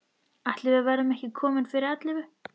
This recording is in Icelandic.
Ætli við verðum ekki komin fyrir ellefu.